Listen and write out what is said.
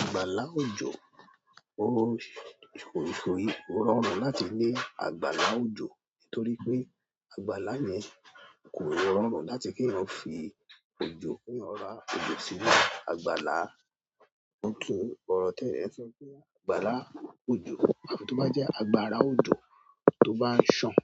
Àgbàlá òjò ó ṣòyìí, kó rọrùn láti gbe àgbàlá òjò nítorí pé àgbàlá yẹn kò rọrùn láti kí eeyan fi òjò kí eeyan ra òjò sínú àgbàlá. Wọn tún orọ̀ tẹ́ẹyan sọ pé àgbàlá òjò but tó bá jẹ́ àgbàrá òjò tó bá sàn,